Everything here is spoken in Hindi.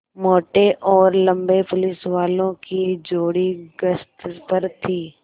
मोटे और लम्बे पुलिसवालों की जोड़ी गश्त पर थी